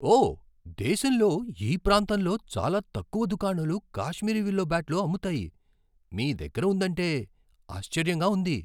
ఓ! దేశంలో ఈ ప్రాంతంలో చాలా తక్కువ దుకాణాలు కాశ్మీరీ విల్లో బ్యాట్లు అమ్ముతాయి. మీదగ్గర ఉందంటే ఆశ్చర్యంగా ఉంది.